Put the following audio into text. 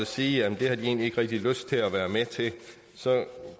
sige at det har de egentlig ikke rigtig lyst til at være med til